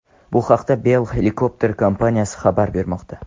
Bu haqda Bell Helicopter kompaniyasi xabar bermoqda .